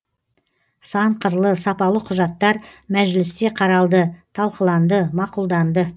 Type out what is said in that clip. сан қырлы сапалы құжаттар мәжілісте қаралды талқыланды мақұлданды